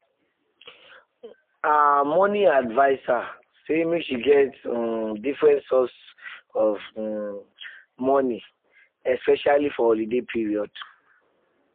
her her money adviser say make she get um different source of um money especially for holiday period.